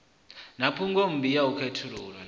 a na phungommbi a khethululwa